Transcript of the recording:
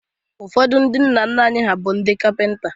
Ụfọdụ ndị nna nna anyị bụrụ ndị Kapịnta